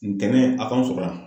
Ntɛnɛn a k'anw sɔrɔ yan.